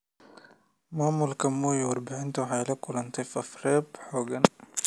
Maamulka Moi, warbaahintu waxay la kulantay faafreeb xooggan.